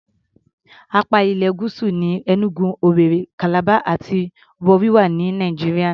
Apá ilẹ̀ Gúúsù ní Enugu, Owerri, Calabar àti Warri wà ní Nàìjíríà.